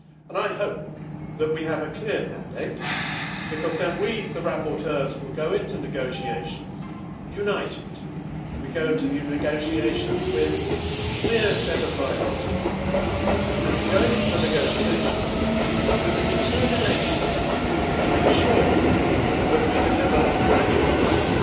I hope that we have a clear mandate because then we, the rapporteurs, will go into negotiations united, we go into the negotiations with a clear set of priorities and we go into the negotiations with the determination to ensure that we deliver value for money,